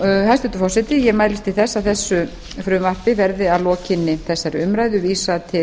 hæstvirtur forseti ég mælist til þess að þessu frumvarpi verði að lokinni þessari umræðu vísað til